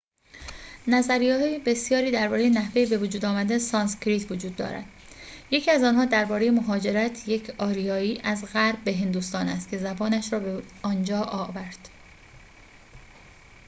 نظریه‌های بسیاری درباره نحوه بوجود آمدن سانسکریت وجود دارد یکی از آنها درباره مهاجرت یک آریایی از غرب به هندوستان است که زبانش را به آنجا آورد